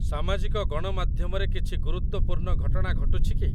ସାମାଜିକ ଗଣମାଧ୍ୟମରେ କିଛି ଗୁରୁତ୍ଵପୂର୍ଣ୍ଣ ଘଟଣା ଘଟୁଛିକି?